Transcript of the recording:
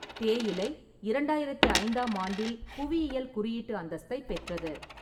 தேயிலை இரண்டாயிரத்தி ஐந்தாம் ஆண்டில் புவியியல் குறியீட்டு அந்தஸ்தைப் பெற்றது.